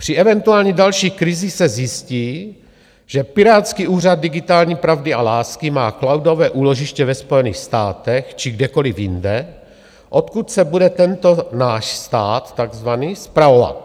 Při eventuální další krizi se zjistí, že pirátský úřad digitální pravdy a lásky má cloudové úložiště ve Spojených státech či kdekoliv jinde, odkud se bude tento náš stát, takzvaný, spravovat.